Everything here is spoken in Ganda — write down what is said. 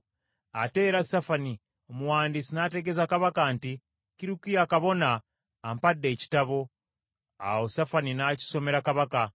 Ate era Safani omuwandiisi n’ategeeza kabaka nti, “Kirukiya kabona, ampadde ekitabo.” Awo Safani n’akisomera kabaka.